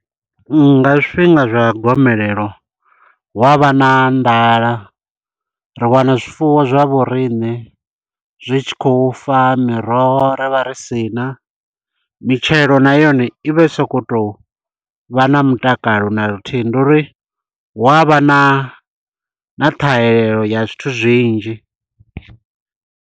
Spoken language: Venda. Nga zwifhinga zwa gomelelo, hu a vha na nḓala. Ri wana zwifuwo zwa vho rine, zwi tshi khou fa, miroho ri vha ri sina. Mitshelo na yone, i vhe i sokou tou vha na mutakalo na luthihi. Ndi uri hu avha na, na ṱhahelelo ya zwithu zwinzhi.